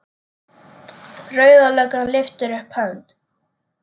Rauða löggan lyftir upp hönd.